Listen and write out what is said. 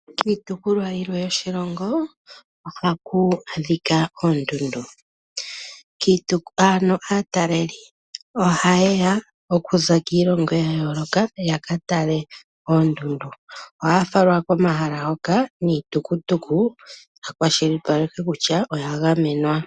Kiitopolwa yilwe yoshilongo ohaku adhika oondundu. Ano aataleli ohaye ya okuza kiilongo ya yooloka ya ka tale oondundu. Ohaya falwa komahala hoka niitutukutuku ya ka kwashilipalekwe kutya oya gamenwa.